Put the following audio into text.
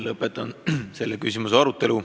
Lõpetan selle küsimuse arutelu.